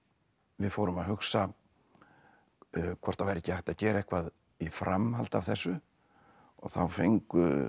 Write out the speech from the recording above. við fórum að hugsa hvort það væri ekki hægt að gera eitthvað í framhaldi af þessu og þá fengu